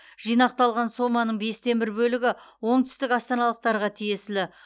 жинақталған соманың бестен бір бөлігі оңтүстік астаналықтарға тиесілі